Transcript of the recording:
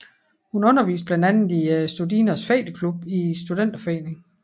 Hun underviste blandt andet i Studinernes Fægteklub i Studenterforeningen